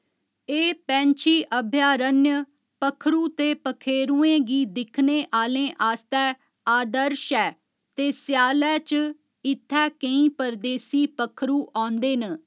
एह् पैंछी अभयारण्य पक्खरू ते पक्खेेरुएं गी दिक्खने आह्‌लें आस्तै आदर्श ऐ ते स्यालै च इत्थै केईं परदेसी पक्खरूऔंदे न।